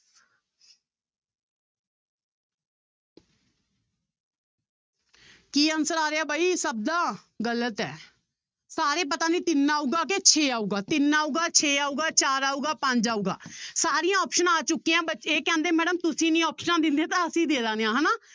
ਕੀ answer ਆ ਰਿਹਾ ਬਾਈ ਸਭ ਦਾ ਗ਼ਲਤ ਹੈ, ਸਾਰੇ ਪਤਾ ਨੀ ਤਿੰਨ ਆਊਗਾ ਕਿ ਛੇ ਆਊਗਾ, ਤਿੰਨ ਆਊਗਾ, ਛੇ ਆਊਗਾ, ਚਾਰ ਆਊਗਾ, ਪੰਜ ਆਊਗਾ ਸਾਰੀਆਂ ਆਪਸਨਾਂ ਆ ਚੁੱਕੀਆਂ ਇਹ ਕਹਿੰਦੇ madam ਤੁਸੀਂ ਨੀ ਆਪਸਨਾਂ ਦਿੰਦੇ ਤਾਂ ਅਸੀਂ ਦੇ ਦਿੰਦੇ ਹਾਂ ਹਨਾ।